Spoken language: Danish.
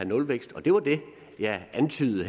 nulvækst det var det jeg antydede